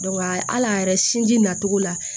al'a yɛrɛ sinji nacogo la